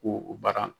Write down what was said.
Ko o baara